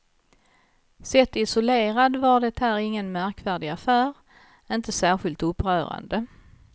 Sett isolerad var det här ingen märkvärdig affär, inte särskilt upprörande.